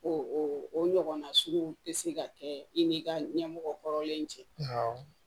O o ɲɔgɔnna sugu tɛ se ka kɛ i ni ka ɲɛmɔgɔ hɔrɔnlen cɛ